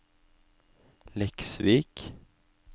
Leksvik